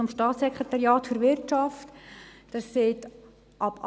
Die eine ist vom Staatssekretariat für Wirtschaft (Seco).